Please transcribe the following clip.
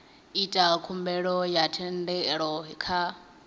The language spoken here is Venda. ita khumbelo ya thendelo kha